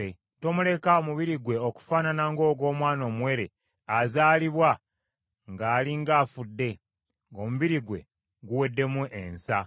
Tomuleka omubiri gwe okufaanana ng’ogw’omwana omuwere azaalibwa ng’ali ng’afudde, ng’omubiri gwe guweddemu ensa.”